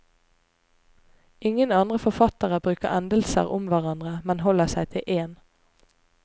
Ingen andre forfattere bruker endelser om hverandre, men holder seg til én.